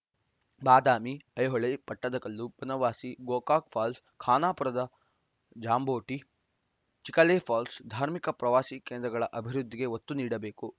ಬಾದಾಮಿ ಐಹೊಳೆ ಪಟ್ಟಕದಲ್ಲು ಬನವಾಸಿ ಗೋಕಾಕ ಫಾಲ್ಸ್‌ ಖಾನಾಪುರದ ಜಾಂಬೋಟಿ ಚಿಖಲೆ ಫಾಲ್ಸ್‌ ಧಾರ್ಮಿಕ ಪ್ರವಾಸಿ ಕೇಂದ್ರಗಳ ಅಭಿವೃದ್ಧಿಗೆ ಒತ್ತು ನೀಡಬೇಕು